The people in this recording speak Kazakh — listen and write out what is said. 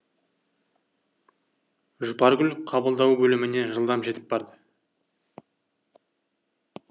жұпаргүл қабылдау бөліміне жылдам жетіп барды